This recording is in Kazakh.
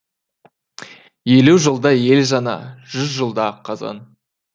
елу жылда ел жаңа жүз жылда қазан